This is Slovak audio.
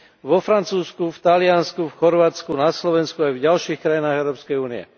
Vo Francúzsku, v Taliansku, v Chorvátsku, na Slovensku aj v ďalších krajinách Európskej únie.